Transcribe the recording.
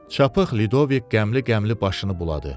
Çapıq Lidovik qəmli-qəmli başını buladı.